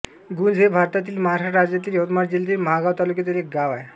गुंज हे भारतातील महाराष्ट्र राज्यातील यवतमाळ जिल्ह्यातील महागांव तालुक्यातील एक गाव आहे